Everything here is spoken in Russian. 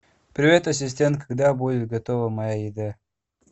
привет ассистент когда будет готова моя еда